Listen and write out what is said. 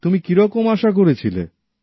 তুমি কিরকম আশা করেছিলে